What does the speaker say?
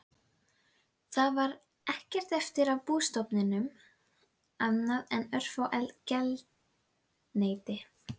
Það var ekkert eftir af bústofninum annað en örfá geldneyti.